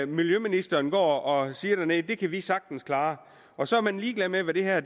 miljøministeren går og siger dernede det kan vi sagtens klare og så er man ligeglad med hvad det her